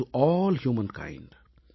to all humankind